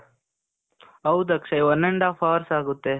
ಹೌದು Akshay, one hand half hours ಆಗುತ್ತೆ.